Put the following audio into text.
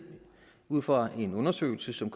ud fra en undersøgelse som